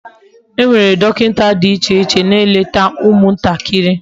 Enwere dokinta di iche iche na-eleta umu ntakiri.